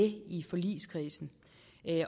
i forligskredsen